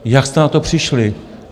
Jak jste na to přišli?